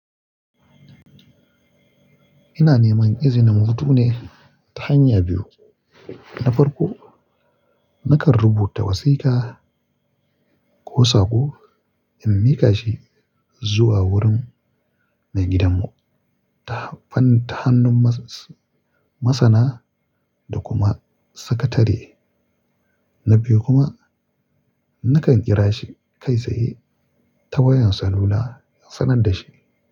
Ina neman izinin hutu ne ta hanya biyu. Na farko, nakan rubuta wasiƙa ko saƙo in miƙa shi zuwa wurin maigidan mu ta hannun masana da kuma sakatare. Na biyu kuma, nakan kira shi kai tsaye ta wayar salula in sanar da shi.